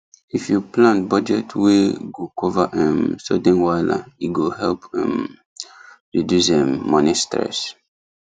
if you plan budget wey go cover um sudden wahala e go help um reduce um money stress